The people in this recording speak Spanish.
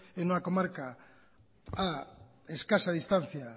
en una comarca a escasa distancia